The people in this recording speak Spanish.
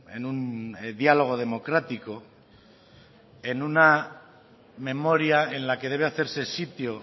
en un diálogo democrático en una memoria en la que debe hacerse sitio